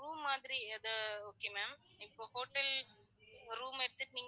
Room மாதிரி அது okay ma'am இப்ப hotel ஒரு room எடுத்துட்டு